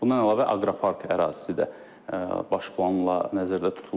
Bundan əlavə aqropark ərazisi də baş planla nəzərdə tutulur.